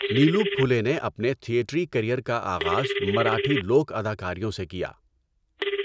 نیلو پُھلے نے اپنے تھیٹری کیریئر کا آغاز مراٹھی لوک اداکاریوں سے کیا۔